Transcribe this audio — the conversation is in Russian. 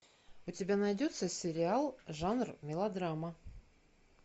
у тебя найдется сериал жанр мелодрама